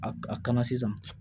A a kana sisan